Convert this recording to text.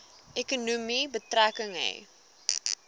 ekonomie betrekking hê